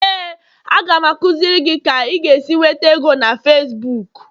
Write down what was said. Éè, a ga m akụziri gị ka ị ga-esi nweta ego na Facibuku